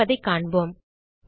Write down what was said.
நடப்பதைக் காண்போம்